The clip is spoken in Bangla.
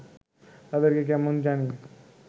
তাঁদেরকে কেমন জানি